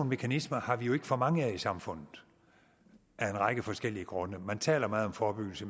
mekanismer har vi jo ikke for mange af i samfundet af en række forskellige grunde man taler meget om forebyggelse